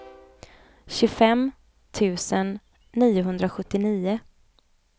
tjugofem tusen niohundrasjuttionio